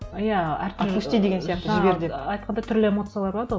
иә отпусти деген сияқты жібер деп айтқандай түрлі эмоциялар болады ғой